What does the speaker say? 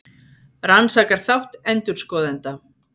Rannsakar þátt endurskoðenda